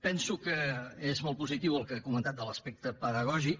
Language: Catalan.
penso que és molt positiu el que ha comentat de l’aspecte pedagògic